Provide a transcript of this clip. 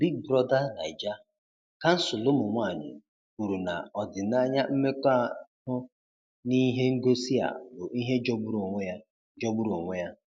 Big Brother Naija: Kansụl Ụmụ Nwanyị kwuru na ọdịnaya mmekọahụ n’ihe ngosi a bụ ihe jọgburu onwe ya. jọgburu onwe ya.